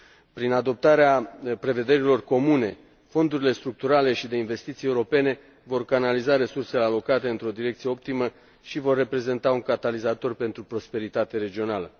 Prin adoptarea prevederilor comune, fondurile structurale și de investiții europene vor canaliza resursele alocate într o direcție optimă și vor reprezenta un catalizator pentru prosperitate regională.